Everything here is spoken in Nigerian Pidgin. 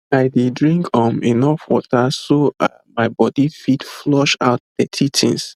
i dey drink um enough water so um my body fit flush out dirty things